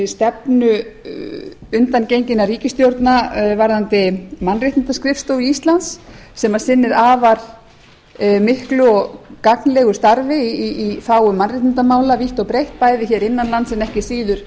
stefnu undangenginna ríkisstjórna varðandi mannréttindaskrifstofu íslands sem sinnir afar miklu og gagnlegu starfi í þágu mannréttindamála vítt og breitt bæði hér innan lands en ekki síður